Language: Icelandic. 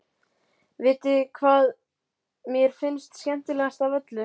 Vitiði hvað mér finnst skemmtilegast af öllu?